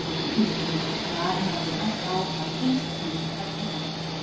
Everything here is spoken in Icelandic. Blái hnúkurinn sem Skari hafði bent á var fyrst milli tveggja fella